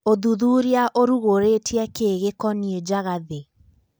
Ũthuthuria ũrugorĩtie kĩ gĩkonie Njagathi?